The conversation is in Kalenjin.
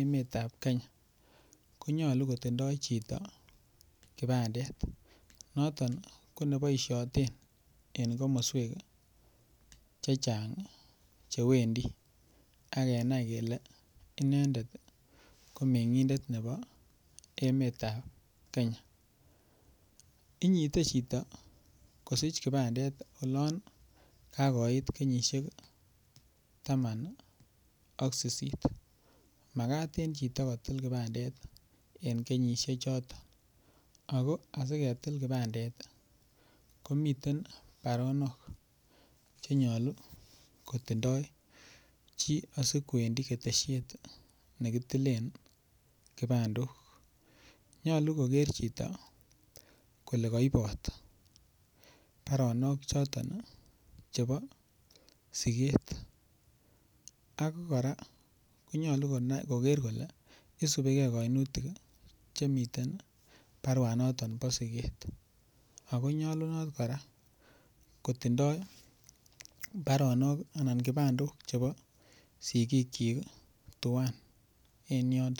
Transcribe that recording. emetab Kenya konyolu kotindoi chito kipandet noton ko neboishoten en komoswek chechang' cheawendi akenai kele inendet ko meng'endet nebo emetab Kenya inyitei chito kosich kipandet olon kakoit kenyishek taman ak sisit makat en chito kotil kipandet en kenyishechoton ako asiketil kipandet komiten baronok chenyolu kotindoi chi asikwendi keteshiet nekitilen kipandok nyolu koker chito kole kaibot baronok choton chebo siket ako kora konyolu koker kole isubigei kainutik chemiten baruanoton bo siket akonyolunot kora kotindoi baronok anan kipandok chebo sikik chin tuwai en yoto